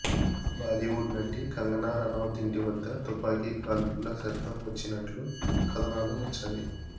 బాలీవుడ్ నటి కంగనా రనౌత్ ఇంటి వద్ద తుపాకీ కాల్పుల శబ్దం వచ్చినట్లు కథనాలు వచ్చాయి